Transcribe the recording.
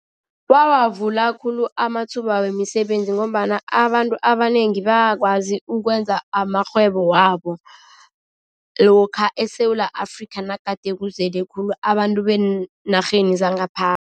Wawavula khulu amathuba wemisebenzi ngombana abantu abanengi bakwazi ukwenza amarhwebo wabo, lokha eSewula Afrika nagade kuzele khulu abantu beenarheni zangaphandle.